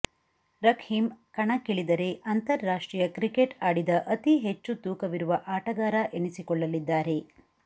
Rahkeem ಕಣಕ್ಕಿಳಿದರೆ ಅಂತಾರಾಷ್ಟ್ರೀಯ cricket ಆಡಿದ ಅತಿಹೆಚ್ಚು ತೂಕವಿರುವ ಆಟಗಾರ ಎನಿಸಿಕೊಳ್ಳಲಿದ್ದಾರೆ